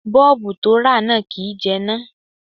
Bọ́ọ̀bù to rà náà kìí jẹná.